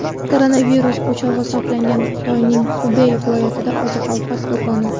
Koronavirus o‘chog‘i hisoblangan Xitoyning Xubey viloyatidagi oziq-ovqat do‘koni.